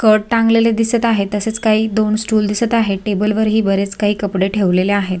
Skirt टांगलेले दिसत आहे तसेच काही दोन स्टूल दिसत आहे टेबल वरही बरेच काही कपडे ठेवलेले आहे.